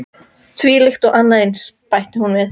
Þvílíkt og annað eins- bætti hún við.